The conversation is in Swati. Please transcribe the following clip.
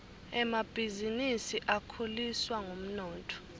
emabhisinisi akhuliswa ngumnotfo